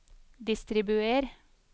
distribuer